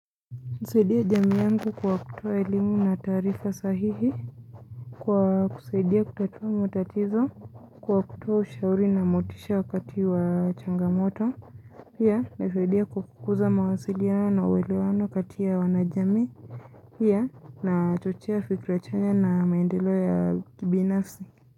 Nasaidia jami yangu kwa kutoa elimu na taarifa sahihi Kwa kusaidia kutatua matatizo Kwa kutoa ushauri na motisha wakati wa changamoto pia ninasaidia kukuza mawasiliano na uwelewano kati ya wanajami pia nachochea fikra za chanya na maendelo ya kibinafsi.